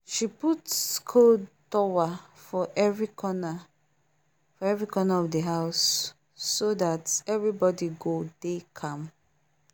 she put cold tower for every corner for every corner of the house so that everybody go dey calm